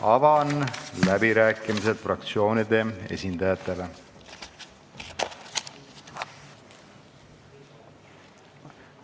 Avan läbirääkimised fraktsioonide esindajatele.